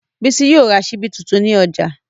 Bísí yóò ra ṣíbí tuntun ní ọjà